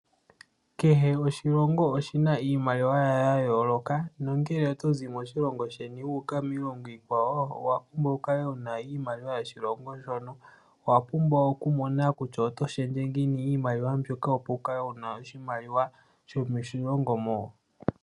Kehe oshilongo oshina iimaliwa yasho yayooloka nongele oto zi moshilongo sheni, wuuka miilongo iikwawo, owapumbwa wukale wuna iimaliwa yoshilongo shono. Owapumbwa okumona kutya oto shendje ngiini iimaliwa mbyono, opo wukale wuna oshimaliwa shomoshilongo mo.